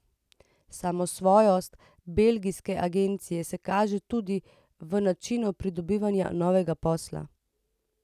Samosvojost belgijske agencije se kaže tudi v načinu pridobivanja novega posla.